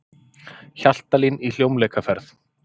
Hjaltalín í hljómleikaferð